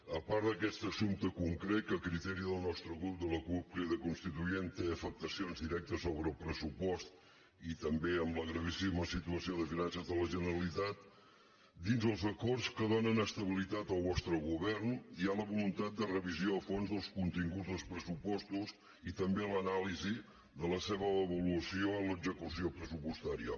a part d’aquest assumpte concret que a criteri del nostre grup de la cup crida constituent té afectacions directes sobre el pressupost i també en la gravíssima situació de finances de la generalitat dins els acords que donen estabilitat al vostre govern hi ha la voluntat de revisió a fons dels continguts dels pressupostos i també l’anàlisi de la seva avaluació en l’execució pressupostària